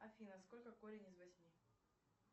афина сколько корень из восьми